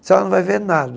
senhora não vai ver nada.